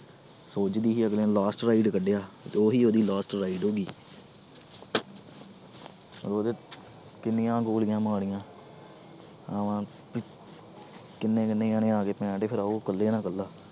ਅਗਲੇ ਨੇ last ride ਕੱਢਿਆ ਤੇ ਉਹੀ ਇਹਦੀ last ride ਹੋ ਗਈ ਉਹਦੇ ਕਿੰਨੀਆਂ ਗੋਲੀਆਂ ਮਾਰੀਆਂ ਇਵੇਂ ਕਿੰਨੇ ਕਿੰਨੇ ਜਾਣੇ ਆ ਗਏ ਉਹ ਇਕੱਲੇ ਨਾਲ ਇੱਕਲਾ।